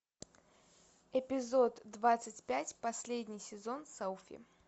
эпизод двадцать пять последний сезон селфи